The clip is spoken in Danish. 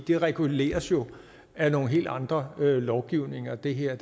det reguleres jo af nogle helt andre lovgivninger det her